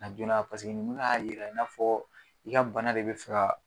Na joona paseke ninnu y'a yira i n'a fɔ i ka bana de be fɛ ka